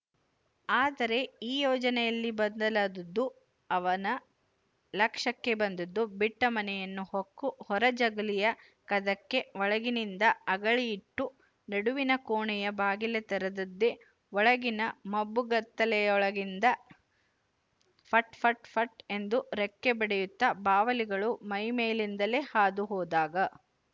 ಆದರೆ ಈ ಯೋಜನೆಯಲ್ಲಿ ಬದಲಾದದ್ದು ಅವನ ಲಕ್ಷ್ಯಕ್ಕೆ ಬಂದದ್ದು ಬಿಟ್ಟ ಮನೆಯನ್ನು ಹೊಕ್ಕು ಹೊರ ಜಗಲಿಯ ಕದಕ್ಕೆ ಒಳಗಿನಿಂದ ಅಗಳಿ ಇಟ್ಟು ನಡುವಿನ ಕೋಣೆಯ ಬಾಗಿಲ ತೆರದದ್ದೇ ಒಳಗಿನ ಮಬ್ಬುಗತ್ತಲೆಯೊಳಗಿಂದ ಫಟ್ ಫಟ್ ಫಟ್ ಎಂದು ರೆಕ್ಕೆ ಬಡಿಯುತ್ತ ಬಾವಲಿಗಳು ಮೈಮೇಲಿಂದಲೇ ಹಾದುಹೋದಾಗ